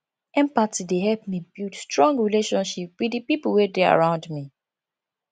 empathy dey help me build strong relationship wit di pipo wey dey around me